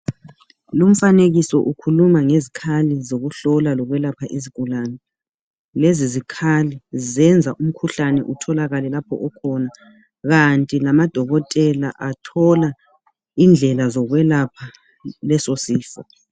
Lumfanekiso ukhuluma ngezikhali zokuhlola lokwelapha izigulane. Lezi zikhali zenza umkhuhlane utholakale lapho okhona, kanti lamadokotela athola indlela zokwelapha lesi sifo.